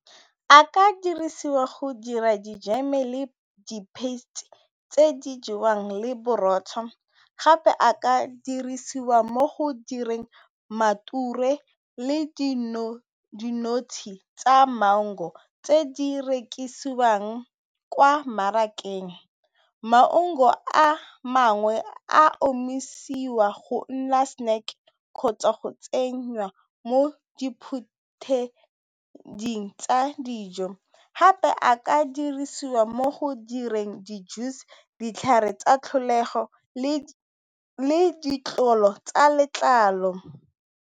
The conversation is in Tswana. A ka dirisiwa go dira dijeme le di tse di jewang le borotho gape a ka dirisiwa mo go direng le dinotshe tsa mango tse di rekisiwang kwa mmarakeng a mangwe a omisiwa go nna snack kgotsa go tsenyWa mo diphutheding tsa dijo, gape a ka dirisiwa mo go direng di juice, ditlhare tsa tlholego, le ditlolo tsa letlalo.